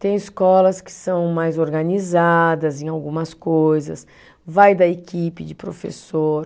Tem escolas que são mais organizadas em algumas coisas, vai da equipe de professor.